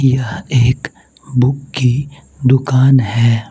ये एक बुक की दुकान है।